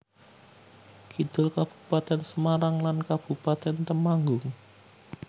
Kidul Kabupatèn Semarang lan Kabupatèn Temanggung